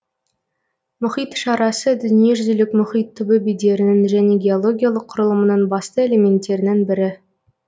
мұхит шарасы дүниежүзілік мұхит түбі бедерінің және геологиялық құрылымының басты элементтерінің бірі